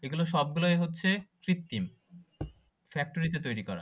সেগুলো সবগুলোই হচ্ছে কৃত্রিম ফ্যাক্টরি তে তৈরী করা